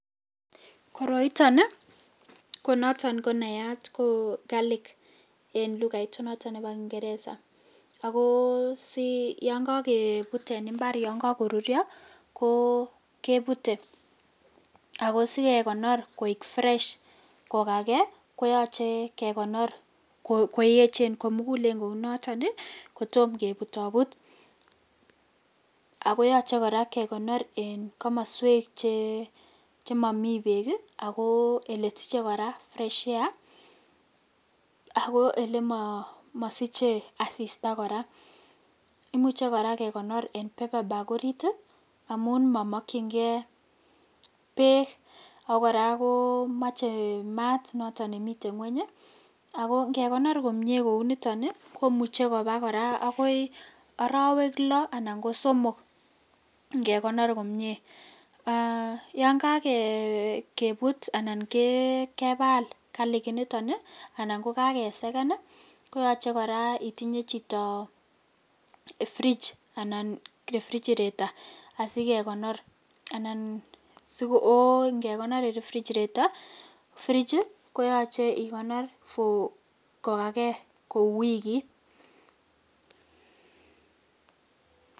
Koroiton ii konoton konayat ko karlik en lugait noton nebo kingereza ako si yon kokebut en imbar yon kokorurio koo kebute, akosikekonor koik fresh kokaken koyoche kekonor koyechen komukulen kounoton ii kotom kebutobut, akoyoche koraa kekonor en komoswek chemoni beek ii ako elesiche koraa fresh air ako elemosiche asista koraa, imuche koraa kekonor en bepabak orit ii amun momokchingee beek, ako koraa komoche maat noton nemiten ngweny ii, ako ingekonor komie kouniton ii komuche koraa kowo agoi orowek loo anan ko somok ingekonor komie ,, aa yon kokebut anan kebal karlik initon ii anan kokakeseken ii koyoche koraa itinye chito fridge anan refrigerator asikekonor anan ko ingekonor en refrigerator fridge for kokaken kou wikit .